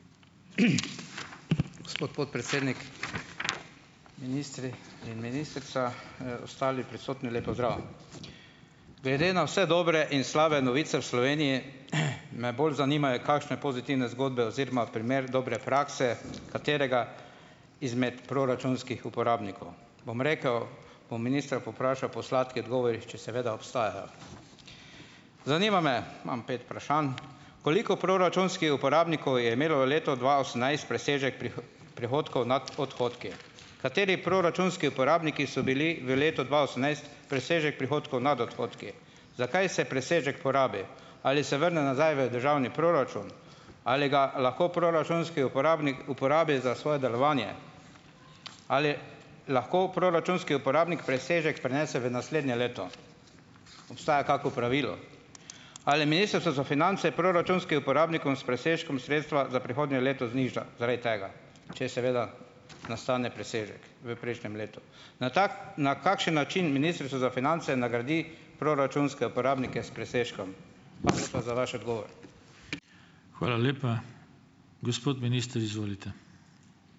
gospod podpredsednik, ministri in ministrica, ostali prisotni! Lep pozdrav! Glede na vse dobre in slabe novice v Sloveniji, me bolj zanimajo kakšne pozitivne zgodbe oziroma primer dobre prakse katerega izmed proračunskih uporabnikov. Bom rekel, bom ministra povprašal po odgovorih, če seveda obstajajo. Zanima me. Imam pet Koliko uporabnikov je imelo leto dva osemnajst presežek prihodkov nad odhodki? Kateri proračunski uporabniki so bili v letu dva osemnajst presežek prihodkov nad odhodki? Zakaj se presežek porabi? Ali se vrne nazaj v državni proračun? Ali ga lahko proračunski uporabnik uporabi za svoje delovanje? Ali lahko proračunski uporabnik presežek prenese v naslednje leto? Obstaja kako pravilo? Ali Ministrstvo za finance proračunskim uporabnikom s presežkom sredstva za prihodnje leto zniža zaradi tega, če seveda nastane presežek v prejšnjem letu? Na na kakšen način Ministrstvo za finance nagradi proračunske uporabnike s presežkom? za vaš odgovor.